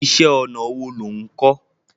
Iṣẹ́ ọnà wo lo ń kò?